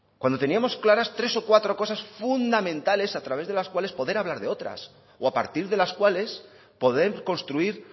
cuando teníamos claras tres o cuatro cosas fundamentales a través de las cuales poder hablar de otras o a partir de las cuales poder construir